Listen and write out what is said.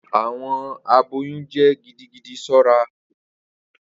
Awọn aboyun jẹ gidigidi ṣọra.